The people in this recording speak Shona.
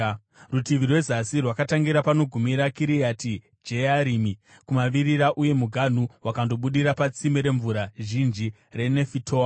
Rutivi rwezasi rwakatangira panogumira Kiriati Jearimi kumavirira, uye muganhu wakandobudira patsime remvura zhinji reNefitoa.